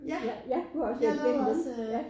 Ja ja du har også været igennem dem